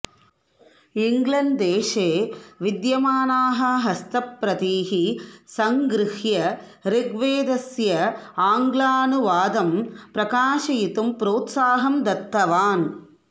इङ्ग्लेण्ड्देशे विद्यमानाः हस्तप्रतीः सङ्गृह्य ऋग्वेदस्य आङ्ग्लानुवादम् प्रकाशयितुं प्रोत्साहं दत्तवान्